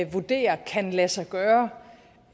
vurderer kan lade sig gøre